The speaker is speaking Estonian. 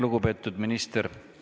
Lugupeetud minister!